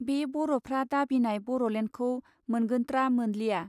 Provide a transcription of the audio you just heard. बे बर'फ्रा दाबिनाय बर'लेण्डखौ मोनगोत्रा मोनलिया.